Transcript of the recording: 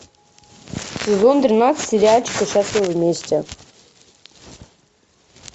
сезон тринадцать сериальчика счастливы вместе